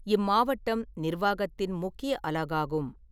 இம்மாவட்டம் நிர்வாகத்தின் முக்கிய அலகாகும்.